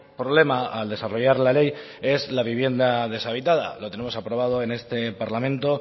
problema al desarrollar la ley es la vivienda deshabitada lo tenemos aprobado en este parlamento